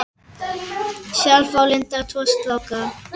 Sjálf á Linda tvo stráka.